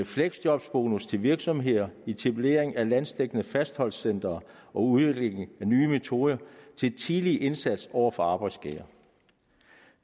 fleksjobbonus til virksomheder etablering af landsdækkende fastholdelsescentre og udvikling af nye metoder til tidlig indsats over for arbejdsskader